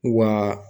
Wa